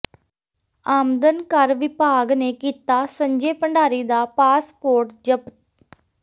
ਆਮਦਨ ਕਰ ਵਿਭਾਗ ਨੇ ਕੀਤਾ ਸੰਜੇ ਭੰਡਾਰੀ ਦਾ ਪਾਸਪੋਰਟ ਜ਼ਬਤ